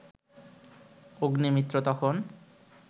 অগ্নিমিত্র তখন